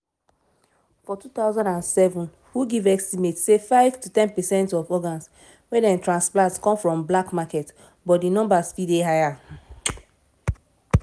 for 2007 who give estimate say 5-10 percent of organs wey dem transplant come from black market but di numbers fit dey higher.